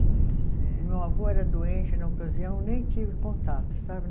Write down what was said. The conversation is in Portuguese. Certo. O meu avô era doente, na ocasião nem tive contato, sabe?